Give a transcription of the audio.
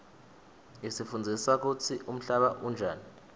isifundzisa kutsi umhlaba unjani